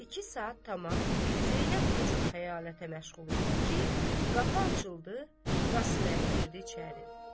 İki saat tamam Zeynəb bu cür xəyalətə məşğul idi ki, qapı açıldı, Qasıməli girdi içəri.